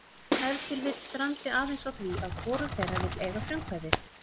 Ef til vill strandi aðeins á því að hvorug þeirra vill eiga frumkvæðið.